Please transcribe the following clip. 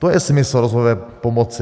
To je smysl rozvojové pomoci.